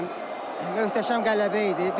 Möhtəşəm qələbə idi.